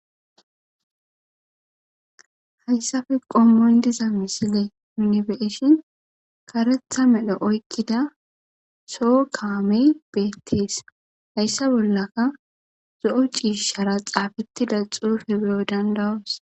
Hayssafe qommoy diza misile minibeeshin karetha medhe oykkida soo kaamey beettees hayssa bollaka zo'o ciishara xaafettida xuufe beyo dandawas.